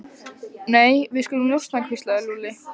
Nei, við skulum njósna hvíslaði Lúlli.